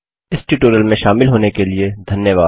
इस ट्यूटोरियल में शामिल होने के लिए धन्यवाद